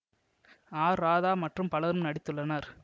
R Radha மற்றும் பலரும் நடித்துள்ளனர்